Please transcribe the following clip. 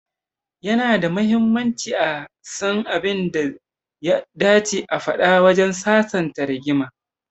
Ya na da mahimmanci a san abin da ya dace a faɗa wajen sasanta rigima.